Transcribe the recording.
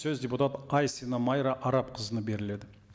сөз депутат айсина майра арапқызына беріледі